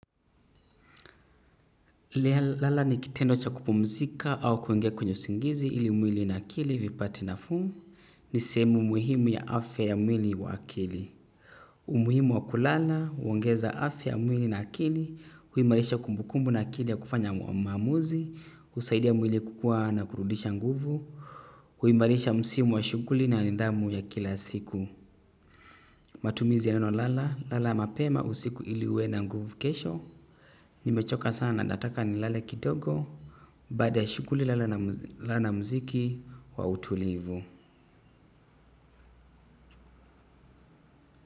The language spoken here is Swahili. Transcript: Lala ni kitendo cha kupumzika au kuingia kwenye usingizi ili mwili na akili vipate nafuu ni sehemu muhimu ya afya ya mwili wa akili. Umuhimu wa kulala, huongeza afya ya mwili na akili, huimarisha kumbukumbu na akili ya kufanya maamuzi, husaidia mwili kukua na kurudisha nguvu, huimarisha msimu wa shuguli na nidhamu ya kila siku. Matumizi ya neno lala, lala mapema usiku ili uwe na nguvu kesho. Nimechoka sana nataka nilale kidogo. Baada shuguli lala na muziki wa utulivu.